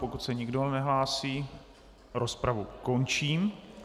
Pokud se nikdo nehlásí, rozpravu končím.